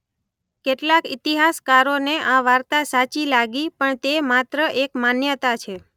કેટલાક ઇતિહાસકારોને આ વાર્તા સાચી લાગી પણ તે માત્ર એક માન્યતા છે.